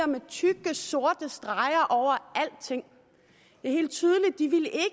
med tykke sorte streger over alting